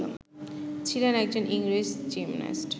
ছিলেন একজন ইংরেজ জিমন্যাস্ট